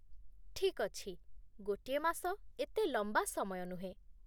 ଠିକ୍ ଅଛି, ଗୋଟିଏ ମାସ ଏତେ ଲମ୍ବା ସମୟ ନୁହେଁ ।